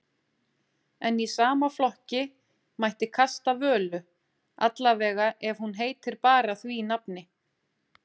En í sama flokki mætti kasta Völu, allavega ef hún heitir bara því nafni.